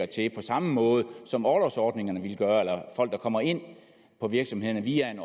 til på samme måde som orlovsordningerne ville gøre folk der kommer ind på virksomhederne via en